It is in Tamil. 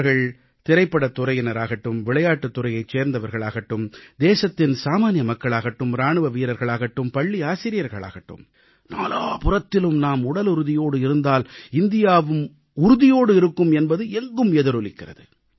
அவர்கள் திரைப்படத் துறையினராகட்டும் விளையாட்டுத் துறையைச் சேர்ந்தவர்கள் ஆகட்டும் தேசத்தின் சாமான்ய மக்களாகட்டும் இராணுவ வீரர்களாகட்டும் பள்ளி ஆசிரியர்கள் ஆகட்டும் நாலாபுறத்திலும் நாம் உடலுறுதியோடு இருந்தால் இந்தியாவும் உறுதியோடு இருக்கும் என்பது எங்கும் எதிரொலிக்கிறது